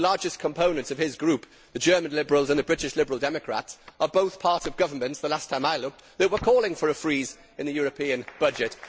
The two largest components of his Group, the German Liberals and the British Liberal Democrats, are both part of governments the last time I looked that were calling for a freeze in the European budget.